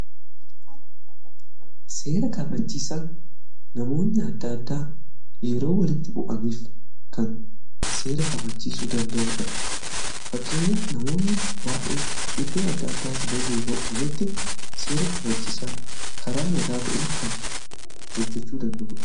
Seera kabachiisaa namoonni adda addaa yeroo walitti bu'aniif kan seera kabachiisuu danda'uudha. Fakkeenyaaf namoonni baa'een iddoo adda addaati lolii yeroo mametti seera kabachiisaan karaa nagaa ta'ee kan hojjechuu danda'udha.